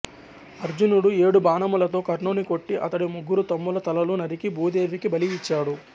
అర్జునుడుఏడు బాణములతో కర్ణుని కొట్టి అతడి ముగ్గురు తమ్ముల తలలు నరికి భూదేవికి బలి ఇచ్చాడు